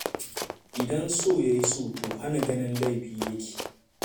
Idan so ya yi so, to hana ganin laifi ya ke.